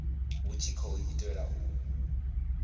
hu tshi khou itelwa u